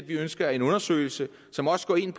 vi ønsker en undersøgelse som også går ind